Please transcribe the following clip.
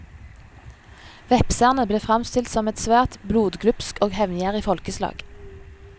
Vepserne ble fremstilt som et svært blodglupsk og hevngjerrig folkeslag.